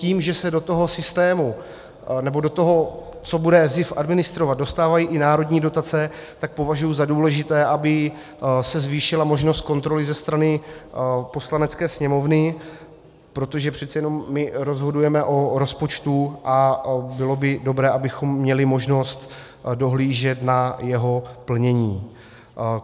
Tím, že se do toho systému, nebo do toho, co bude SZIF administrovat, dostávají i národní dotace, tak považuji za důležité, aby se zvýšila možnost kontroly ze strany Poslanecké sněmovny, protože přece jenom my rozhodujeme o rozpočtu a bylo by dobré, abychom měli možnost dohlížet na jeho plnění.